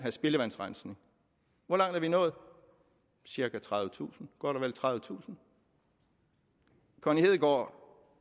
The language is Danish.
spildevandsrensning hvor langt er vi nået cirka tredivetusind godt og vel tredivetusind connie hedegaard